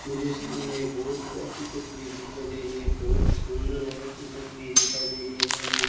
मुझे सामने एक बहुत ही अच्छी तस्वीर दिखाई दे रही है बहुत ही सुंदर और अच्छी तस्वीर दिखाई दे रही है सामने।